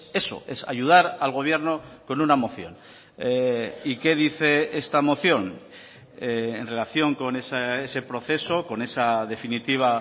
eso es ayudar al gobierno con una moción y qué dice esta moción en relación con ese proceso con esa definitiva